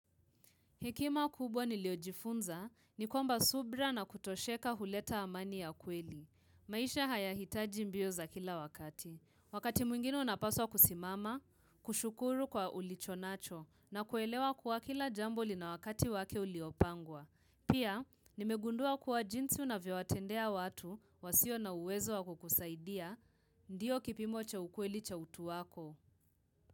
Hekima kubwa niliojifunza, nikwamba subira na kutosheka huleta amani ya kweli. Maisha haya hitaji mbio za kila wakati. Wakati mwingine unapaswa kusimama, kushukuru kwa ulichonacho, na kuelewa kwa kila jambo lina wakati wake uliopangwa. Pia, nimegundua kuwa jinsi unavyoatendea watu wasio na uwezo wako kusaidia, ndiyo kipimocha ukweli cha utu wako.